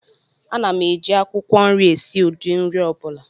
Ana m eji akwukwo nri esi ụdị nri ọ bụla